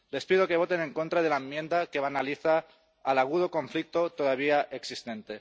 Les pido que voten en contra de la enmienda que banaliza el agudo conflicto todavía existente.